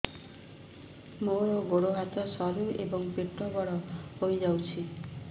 ମୋର ଗୋଡ ହାତ ସରୁ ଏବଂ ପେଟ ବଡ଼ ହୋଇଯାଇଛି